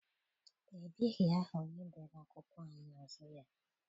Ebighị aha onye dere akwụkwọ a n'azụ ya.